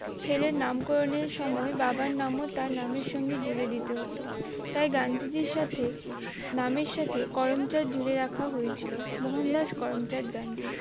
ছেলের নামকরণের সময় বাবার নাম ও তার নামের সঙ্গে জুড়ে দিতে হতো তাই গান্ধীজীর সাথে নামের সাথে করমচাঁদ জুড়ে রাখা হয়েছিল মোহনদাস করমচাঁদ গান্ধী